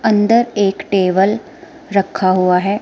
अंदर एक टेबल रखा हुआ है।